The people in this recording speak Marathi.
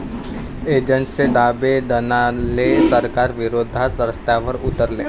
एजंट्सचे धाबे दणाणले, सरकारविरोधात रस्त्यावर उतरले